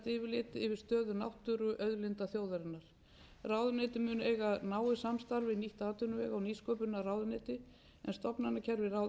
stöðu náttúruauðlinda þjóðarinnar ráðuneytið mun eiga náið samstarf við nýtt atvinnuvega og nýsköpunarráðuneyti en stofnanakerfi